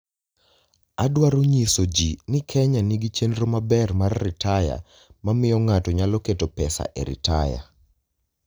Adwaro nyiso ji ni Kenya nigi chenro maber mar ritaya ma miyo ng'ato nyalo keto pesa e ritaya.